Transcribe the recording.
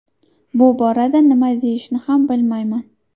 Bu borada nima deyishni ham bilmayman.